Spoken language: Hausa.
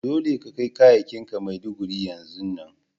Dolle ka kai kayakin ka Maiduguri yanzun nan!